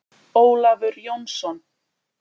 Ólafur Jónsson.